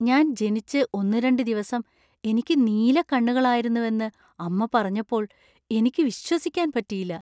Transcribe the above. ഞാൻ ജനിച്ച് ഒന്നുരണ്ട് ദിവസം എനിക്ക് നീലക്കണ്ണുകളായിരുന്നുവെന്ന് അമ്മ പറഞ്ഞപ്പോൾ എനിക്ക് വിശ്വസിക്കാൻ പറ്റിയില്ല.